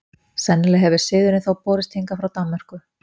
sennilega hefur siðurinn þó borist hingað frá danmörku